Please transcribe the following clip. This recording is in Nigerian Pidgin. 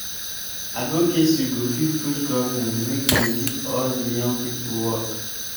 advocacy go fit push government make dem give all de young pipo work.